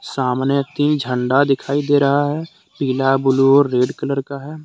सामने तीन झंडा दिखाई दे रहा है। पीला ब्लू और कलर का है।